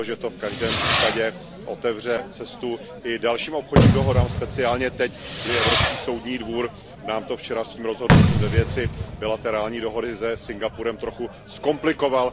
V každém případě otevře cestu i dalším obchodním dohodám, speciálně teď, kdy Evropský soudní dvůr nám to včera svým rozhodnutím ve věci bilaterální dohody ze Singapurem trochu zkomplikoval.